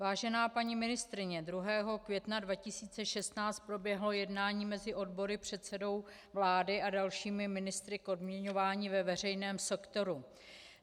Vážená paní ministryně, 2. května 2016 proběhlo jednání mezi odbory, předsedou vlády a dalšími ministry k odměňování ve veřejném sektoru.